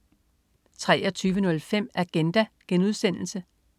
23.05 Agenda*